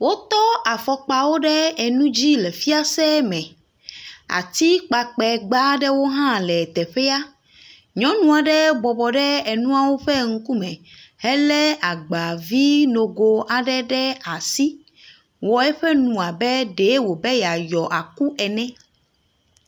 Wotɔ afɔkpa ɖe enu dzi le fiase me. Atikpakpɛ nuwo aɖe hã le teƒea. Nyɔnua aɖe bɔbɔ ɖe enuawo ƒe ŋkume hele agbavi nogo aɖe ɖe asi, wɔ eƒe nu abe ɖee wò be ye lɔ ekui ene.